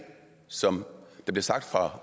som det blev sagt fra